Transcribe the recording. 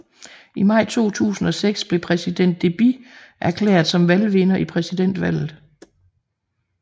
I maj 2006 blev præsident Deby erklæret som valgvinder i præsidentvalget